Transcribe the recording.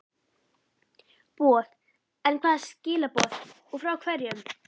boð, en hvaða skilaboð og frá hverjum?